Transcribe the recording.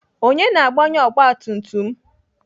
Onye na-agbanye ọgbatumtum m?